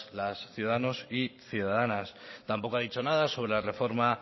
las ciudadanos y ciudadanas tampoco ha dicho nada sobre la reforma